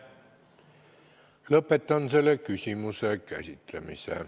Lõpetan selle küsimuse käsitlemise.